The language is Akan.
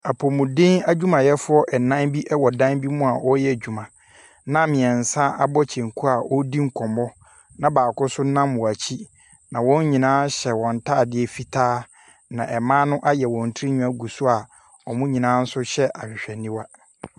Apomodin adwuma yɛfoɔ ɛnan bi ɛwɔ dan bi mua ɔyɛ adwuma na mmiɛnsa abɔ kyenku edi nkɔmɔ na baako nso nam wɔn akyi na wɔn nyinaa hyɛ wɔn ntaadeɛ fitaa a na ɛmma no ayɛ wɔn tirenwi ɛgu soa ɔmɔ nyinaa hyɛ ahwehwɛni wa.